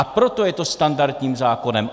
A proto je to standardním zákonem.